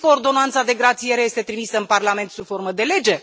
Știți că ordonanța de grațiere este trimisă în Parlament sub formă de lege?